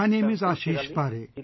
My name is Aashish Paare